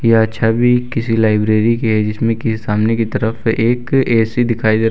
यह छवि किसी लाइब्रेरी की हैं जिसमे की सामने की तरफ से एक ए_सी दिखाई दे --